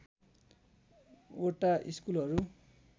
वटा स्कुलहरू